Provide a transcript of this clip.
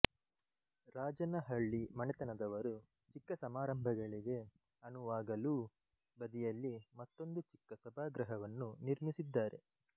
ರಾಜನಹಳ್ಳಿ ಮನೆತನದವರು ಚಿಕ್ಕ ಸಮಾರಂಭಗಳಿಗೆ ಅನುವಾಗಲೂ ಬದಿಯಲ್ಲಿ ಮತ್ತೊಂದು ಚಿಕ್ಕ ಸಭಾಗೃಹವನ್ನು ನಿರ್ಮಿಸಿದ್ದಾರೆ